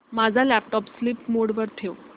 माझा laptop sleep mode वर ठेव